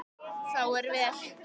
Þá er vel.